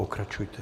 Pokračujte.